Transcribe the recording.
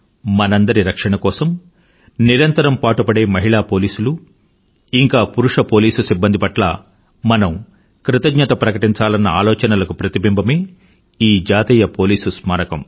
మనందరి రక్షణ కోసం నిరంతరం పాటుపడే మహిళా పోలీసులు ఇంకా పురుష పోలీసు సిబ్బంది పట్ల మనం కృతజ్ఞత ప్రకటించాలనే ఆలోచనలకు ప్రతిబింబమే ఈ జాతీయ పోలీసు స్మారకం